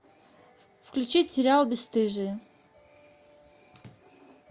включить сериал бесстыжие